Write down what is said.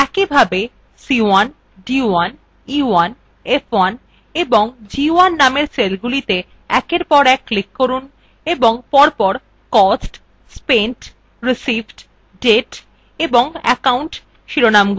একইভাবে c1 c1 c1 c1 এবং c1 নামের cellsগুলিতে একের পর e1 click করুন এবং পরপর cost spent received date এবং account শিরোনামগুলি লিখুন